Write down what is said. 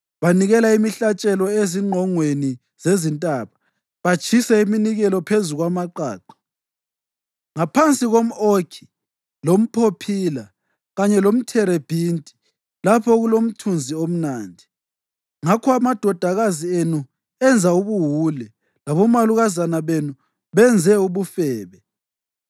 Banikela imihlatshelo ezingqongweni zezintaba batshise iminikelo phezu kwamaqaqa, ngaphansi komʼokhi, lomphophila kanye lomtherebhinti, lapho okulomthunzi omnandi. Ngakho amadodakazi enu enza ubuwule, labomalukazana benu benze ubufebe.